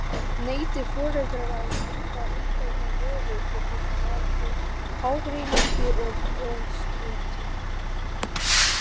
Neiti foreldrar að kaupa umbeðna vöru getur það valdið ágreiningi og togstreitu.